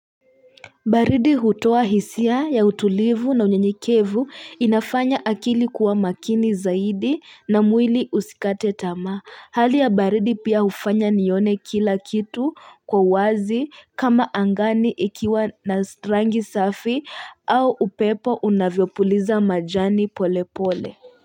Baridi hutua hisia ya utulivu na unyanyikevu inafanya akili kuwa makini zaidi na mwili usikate tamaa hali ya baridi pia ufanya nione kila kitu kwa uwazi kama angani ikiwa na strangi safi au upepo unavyopuliza majani pole pole.